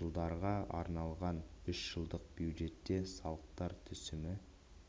жылдарға арналған үш жылдық бюджетте салықтар түсімі